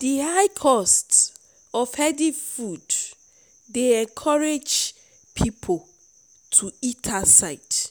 di high cost of healthy food dey encourage people to eat outside